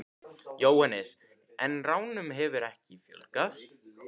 Jóhannes: En ránum hefur ekki fjölgað?